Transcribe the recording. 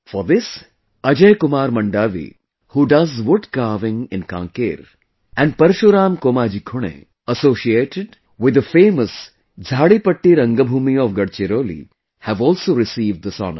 For this, Ajay Kumar Mandavi, who does wood carving in Kanker, and Parshuram Komaji Khune, associated with the famous Jharipatti Rangbhoomi of Gadchiroli, have also received this honour